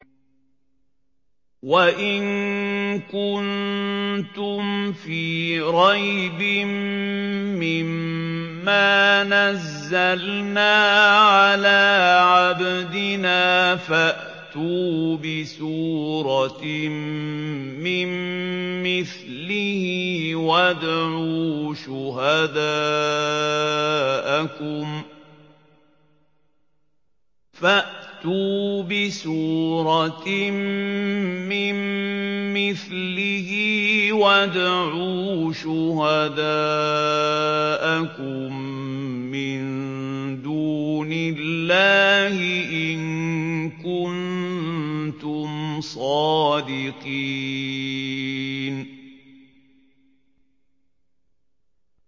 وَإِن كُنتُمْ فِي رَيْبٍ مِّمَّا نَزَّلْنَا عَلَىٰ عَبْدِنَا فَأْتُوا بِسُورَةٍ مِّن مِّثْلِهِ وَادْعُوا شُهَدَاءَكُم مِّن دُونِ اللَّهِ إِن كُنتُمْ صَادِقِينَ